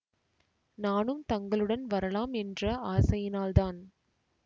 நானும் தங்களுடன் வரலாம் என்ற ஆசையினால்தான்